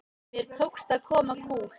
Mér tókst að koma kúl